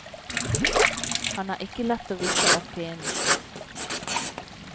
Han er ikke lett å vippe av pinnen.